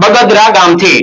બગદરા ગામ થી.